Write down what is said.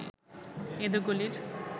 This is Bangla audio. এঁদো গলির